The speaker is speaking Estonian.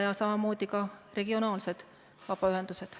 Ja samamoodi ka regionaalsed vabaühendused.